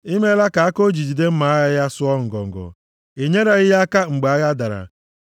I meela ka aka o ji jide mma agha ya sụọ ngọngọ, i nyereghị ya aka mgbe agha dara.